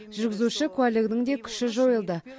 жүргізуші куәлігінің де күші жойылды